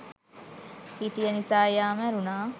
හිටිය නිසා එයා මැරුණා